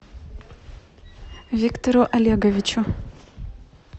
виктору олеговичу